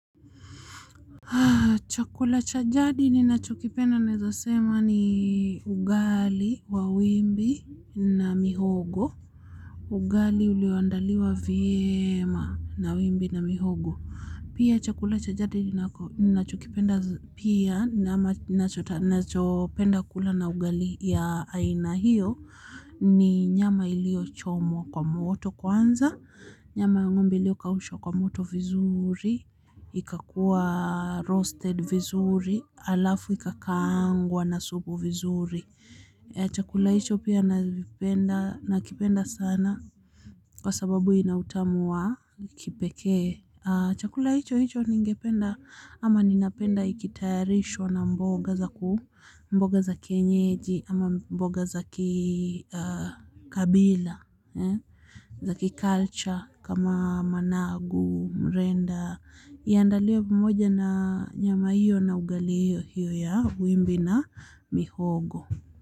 Chakula cha jadi ninacho kipenda naeza sema ni ugali wa wimbi na mihogo. Ugali ulioandaliwa vyema na wimbi na mihogo. Pia chakula cha jadi ninachokipenda pia na nachopenda kula na ugali ya aina hiyo. Ni nyama iliyochomwa kwa moto kwanza. Nyama ya ng'ombe ilio kaushwa kwa moto vizuri. Ika kuwa roasted vizuri alafu ikakaangwa na supu vizuri. Chakula hicho pia nakipenda sana, kwa sababu ina utamu wa kipekee. Chakula hicho hicho ningependa, ama napenda ikitayarishwa na mboga za, mboga za kienyeji, ama mboga za kikabila. Za ki culture kama managu, mrenda, iandaliwe pamoja na nyama hiyo na ugali hiyo hiyo ya wimbi na mihogo.